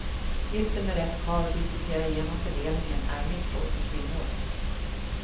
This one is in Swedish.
Gift dig med rätt karl och diskutera igenom fördelningen, är mitt råd till kvinnor.